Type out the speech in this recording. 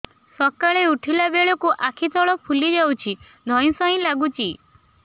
ସକାଳେ ଉଠିଲା ବେଳକୁ ଆଖି ତଳ ଫୁଲି ଯାଉଛି ଧଇଁ ସଇଁ ଲାଗୁଚି